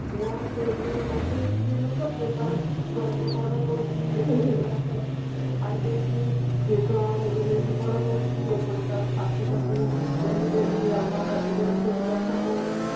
ଗୋଟେ ସ୍ତ୍ରୀ ଲୋକ ସେ ତାର ଛୁଆଙ୍କୁ ବଡ କରୁଛି ଛାଡିଦେଇଛି ସେ ଛୁଆମାନଙ୍କୁ ନେଇକି ବଡ କରୁଛି ଏପଟେ ତାର ଶାଶୁ ତାକୁ daily daily ଆଭଦ୍ର ଇଆଡୁ ସିଆଡୁ କଥା କହୁଛି